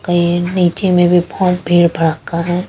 आय अ नीचे में भी फॉर्म फिर भरका है।